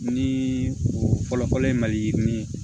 Ni o fɔlɔ-fɔlɔ ye maliyirinin